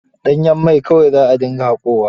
Danyen mai kawai za a dinga haƙowa.